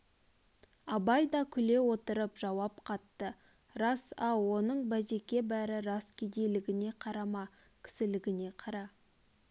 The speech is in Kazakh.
абай да күле отырып жауап қатты рас-ау оның базеке бәрі рас кедейлігіне қарама кісілігіне қара